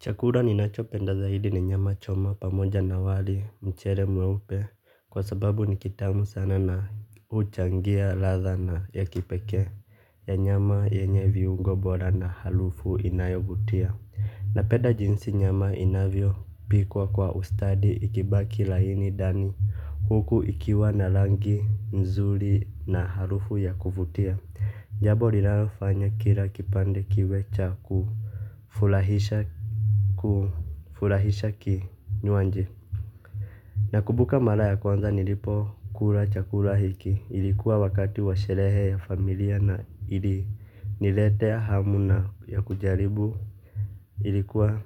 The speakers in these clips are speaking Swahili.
Chakura ninachopenda zaidi ni nyama choma pamoja na wali mchere mweupe kwa sababu ni kitamu sana na huchangia ladha na ya kipekee ya nyama yenye viungo bora na halufu inayovutia. Napeda jinsi nyama inavyopikwa kwa ustadi ikibaki laini ndani huku ikiwa na langi mzuri na harufu ya kuvutia jabo rinalofanya kila kipande kiwe cha kufulahisha kinywanji. Nakubuka mara ya kwanza nilipokula chakula hiki ilikuwa wakati wa sherehe ya familia na iliniletea hamu na ya kujaribu ilikuwa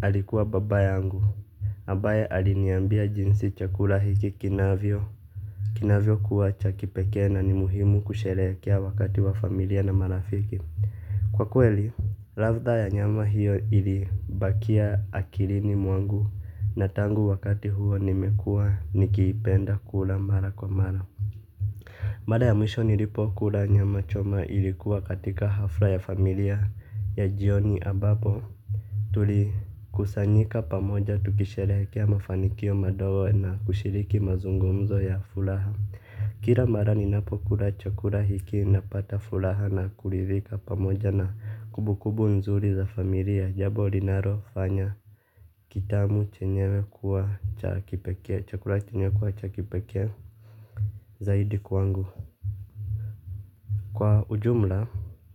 alikuwa baba yangu ambaye aliniambia jinsi chakula hiki kinavyo kinavyokuwa cha kipekee na ni muhimu kusherekea wakati wa familia na marafiki. Kwa kweli, ladha ya nyama hiyo ilibakia akirini mwangu na tangu wakati huo nimekuwa nikipenda kula mara kwa mara. Mara ya mwisho nilipokula nyama choma ilikuwa katika hafra ya familia ya jioni ambapo tulikusanyika pamoja tukisherekea mafanikio madogo na kushiriki mazungumzo ya fulaha. Kira mara ninapokula chakura hiki napata fulaha na kuridhika pamoja na kumbukumbu nzuri za familia jabo rinarofanya kitamu chenyewe kuwa cha kipekee chakura chenyewe kuwa cha kipekee zaidi kwangu. Kwa ujumla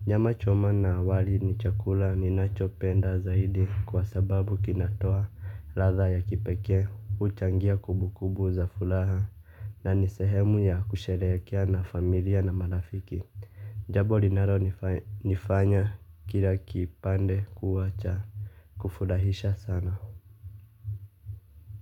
nyama choma na awali ni chakura ninachopenda zaidi kwa sababu kinatoa ladha ya kipekee huchangia kumbukumbu za fulaha. Na ni sehemu ya kusherehekea na familia na marafiki. Jabo linaronifanya kila kipande kuwa cha kufurahisha sana.